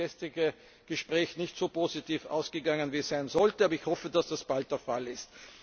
Leider ist das gestrige Gespräch nicht so positiv ausgegangen, wie es ausgehen sollte, aber ich hoffe, dass das bald der Fall ist.